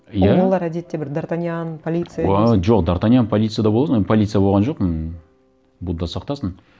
иә ол балалар әдетте бір д артаньян полиция емес пе уа жоқ д артаньян полиция да боласың полиция болған жоқпын будда сақтасын